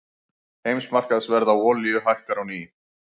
Heimsmarkaðsverð á olíu hækkar á ný